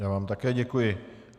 Já vám také děkuji.